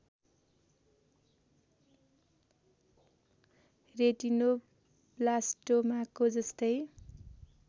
रेटिनोब्लास्टोमाको जस्तै